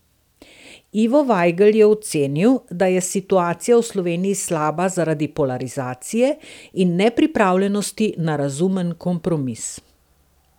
Ivo Vajgl je ocenil, da je situacija v Sloveniji slaba zaradi polarizacije in nepripravljenosti na razumen kompromis.